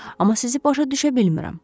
Amma sizi başa düşə bilmirəm.